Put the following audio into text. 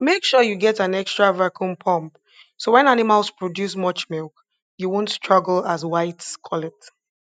make sure you get an extra vacuum pump so when animals produce much milk you wont struggle as whites call it